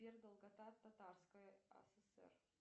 сбер долгота татарская асср